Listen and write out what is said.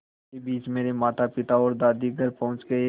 इसी बीच मेरे मातापिता और दादी घर पहुँच गए